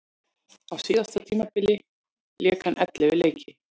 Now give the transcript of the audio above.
Á síðasta tímabili lék hann ellefu leiki.